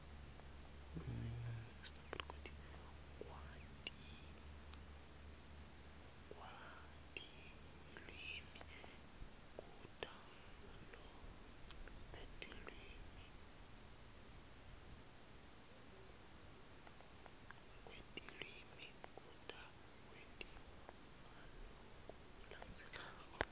kwetilwimi kutawentiwa ngalokulandzelako